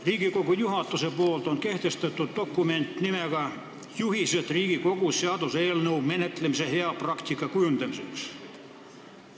Riigikogu juhatus on kehtestanud dokumendi "Juhised Riigikogus seaduseelnõu menetlemise hea praktika kujundamiseks".